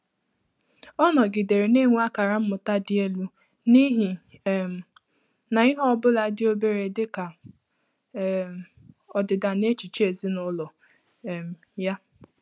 Ọ́ nọgídèrè nà-ènwé ákàrà mmụ́tà dị́ èlú n’íhí um nà ìhè ọ bụ́lá dị́ óbèré dị́ kà um ọdị́dà n’échíché èzínụ́lọ um yá.